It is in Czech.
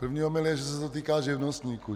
První omyl je, že se to týká živnostníků.